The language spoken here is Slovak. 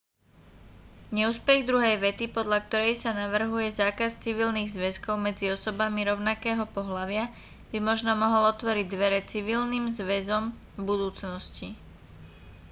neúspech druhej vety podľa korej sa navrhuje zákaz civilných zväzkov medzi osobami rovnakého pohlavia by možno mohol otvoriť dvere civilným zväzom v budúcnosti